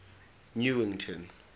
newington